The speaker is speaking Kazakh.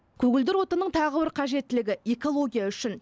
көгілдір отынның тағы бір қажеттілігі экология үшін